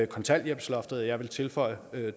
kontanthjælpsloftet og jeg vil tilføje